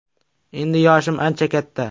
Endi yoshim ancha katta.